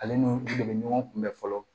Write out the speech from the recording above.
Ale ni dɛmɛ ɲɔgɔn kunbɛn fɔlɔ